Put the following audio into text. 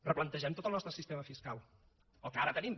replantegem tot el nostre sistema fiscal el que ara tenim